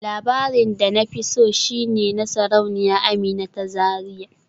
Labarin Hausa da na fi so shi ne na Sarauniya Amina ta Zariya